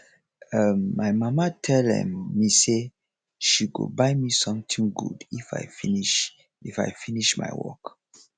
um my mama tell um me say she go buy me something good if i finish if i finish my work